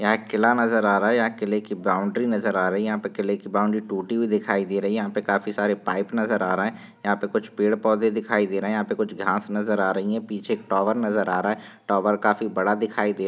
यहाँ एक किला नजर आ रहा है यहाँ किले की बाउन्ड्री नजर आ रही है यहाँ पे किले की बाउन्ड्री टूटी हुई दिखाई दे रही है यहाँ पे काफी सारे पाइप नजर आ रहे है यहाँ पे कुछ पेड़ पौधे दिखाई दे रहे है यहाँ पे कुछ घास नजर आ रही है पीछे एक टावर नजर आ रहा है टावर काफी बड़ा दिखाई दे--